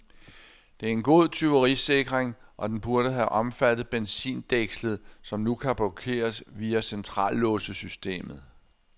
Det er en god tyverisikring, og den burde have omfattet benzindækslet, som nu kun blokeres via centrallåssystemet.